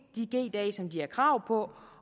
dage som de har krav på